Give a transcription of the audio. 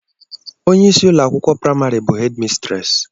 Ònye ịsị ụlọakwụkwọ primari bụ hedi mistresi